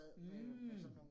Mh